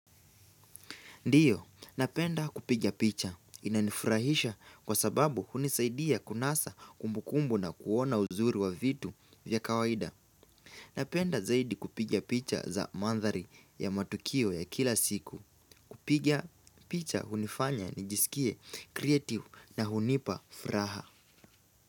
Ndiyo, napenda kupiga picha. Inanifurahisha kwa sababu hunisaidia kunasa kumbukumbu na kuona uzuri wa vitu vya kawaida. Napenda zaidi kupiga picha za mandhari ya matukio ya kila siku. Kupiga picha hunifanya nijisikie kreativu na hunipa furaha.